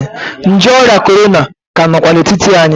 Nje ọrịa korona ka nọkwa n'etiti anyị.